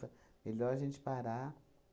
Melhor a gente parar.